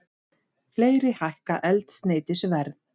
Fleiri hækka eldsneytisverð